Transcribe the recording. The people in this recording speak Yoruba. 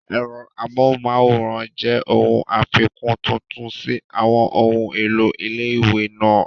Ẹ̀rọ amóhùnmáwòrán jẹ́ ohun àfikún tuntun sí àwọn ohun èlò ilé-ìwé náà